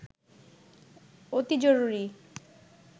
অতি জরুরি